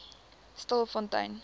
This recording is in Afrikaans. stilfontein